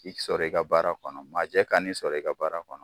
K'i sɔrɔ i ka baara kɔnɔ majɛ kan'i sɔrɔ i ka baara kɔnɔ.